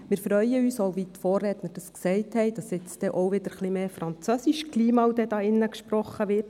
Wir freuen uns, wie schon von den Vorrednern gesagt, dass hier drin, vom obersten Pult aus, bald einmal wieder mehr Französisch gesprochen wird.